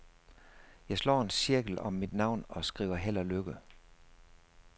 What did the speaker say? Jeg slår en cirkel om mit navn og skriver held og lykke.